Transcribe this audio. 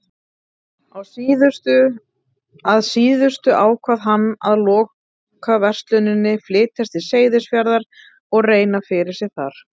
Að síðustu ákvað hann að loka versluninni, flytjast til Seyðisfjarðar og reyna fyrir sér þar.